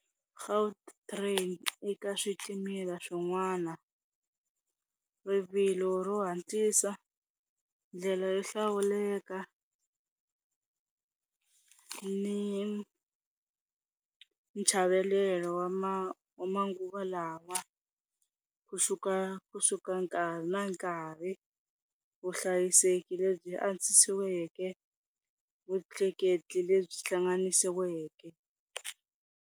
Gautrain eka switimela swin'wana rivilo ro hatlisa, ndlela yo hlawuleka ni chavelelo wa manguva lawa kusuka kusuka nkarhi na nkarhi, vuhlayiseki lebyi andzisiweke, vutleketli lebyi hlanganisiweke.